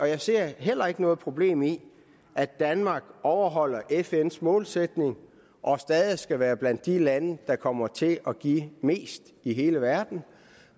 jeg ser heller ikke noget problem i at danmark overholder fns målsætning og stadig skal være blandt de lande der kommer til at give mest i hele verden